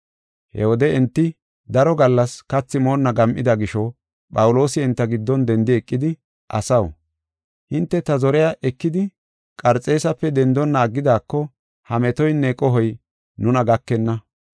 He wode enti daro gallas kathi moonna gam7ida gisho Phawuloosi enta giddon dendi eqidi, “Asaw, hinte ta zoriya ekidi Qarxeesape dendonna aggidako ha metoynne qohoy nuna gakenna.